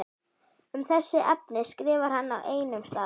Um þessi efni skrifar hann á einum stað